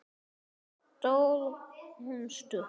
Sló hún stutt?